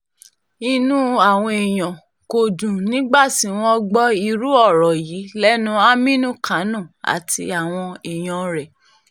inú àwọn èèyàn kò dùn nígbà tí wọ́n gbọ́ irú ọ̀rọ̀ yìí lẹ́nu àmínú kánò àti àwọn èèyàn rẹ̀